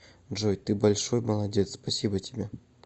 джой ты большой молодец спасибо тебе